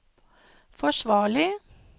forsvarlig